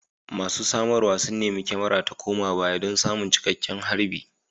Masu samarwa sun nemi kyamarar ta koma baya don samun cikakken harbi